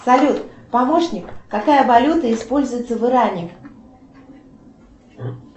салют помощник какая валюта используется в иране